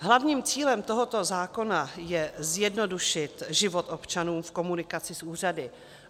Hlavním cílem tohoto zákona je zjednodušit život občanům v komunikaci s úřady.